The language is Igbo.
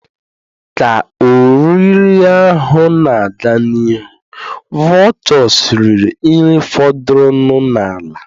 Ka oriri ahụ na-aga n'ihu, vultures riri nri fọdụrụnụ n'ala.